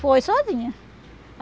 Foi sozinha.